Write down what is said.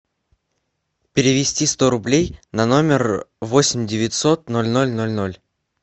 перевести сто рублей на номер восемь девятьсот ноль ноль ноль ноль